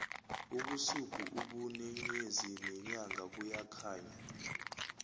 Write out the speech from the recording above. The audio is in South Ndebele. ubusuku ubune nyezi nenyanga buyakhanya